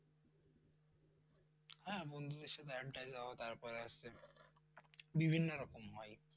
হ্যাঁ, বন্ধুদের সাথে আড্ডায় যাওয়া তারপর হচ্ছে বিভিন্ন রকম হয়